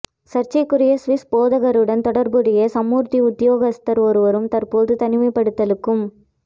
சர்ச்சைக்குரிய சுவிஸ் போதகருடன் தொடர்புடைய சமுர்த்தி உத்தியோகத்தர் ஒருவரும் தற்போது தனிமைப்படுத்தலுக்கும்